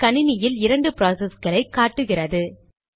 என் கணினியில் இரண்டு ப்ராசஸ்களை காட்டுகிறது